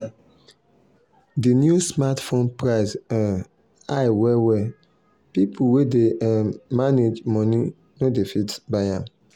the new smartphone price um high well well people wey dey um manage money no dey fit buy am.